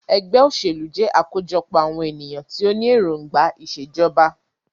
Ẹgbẹ́ òṣèlú jẹ́ àkójọpọ̀ àwọn ènìyàn tí o ní èròngbà ìṣèjọba.